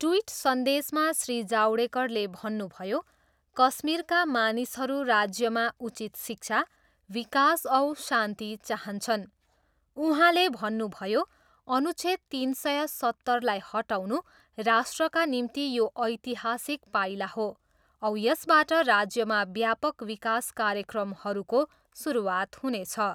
Tweet सन्देशमा श्री जावडेकरले भन्नुभयो, कश्मीरका मानिसहरू राज्यमा उचित शिक्षा, विकास औ शान्ति चाहन्छन्। उहाँले भन्नुभयो, अनुच्छेद तिन सय सत्तरलाई हटाउनु राष्ट्रका निम्ति यो ऐतिहासिक पाइला हो औ यसबाट राज्यमा व्यापक विकास कार्यक्रमहरूको सुरुवात हुनेछ।